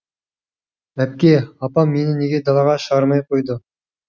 әпке апам мені неге далаға шығармай қойды